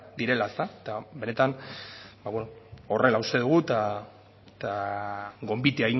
direla ezta eta benetan horrela uste dugu eta gonbite